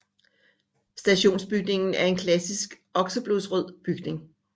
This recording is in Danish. Stationsbygningen er en klassisk okseblodsrød bygning